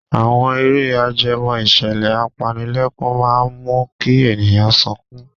Àwọn eré ajẹmọ́ ìṣẹ̀lẹ̀ apanilẹ́kún máa ń mú kí ènìyàn sọkún.